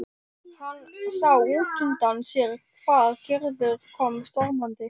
Hann sá útundan sér hvar Gerður kom stormandi.